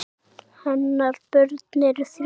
Hennar börn eru þrjú.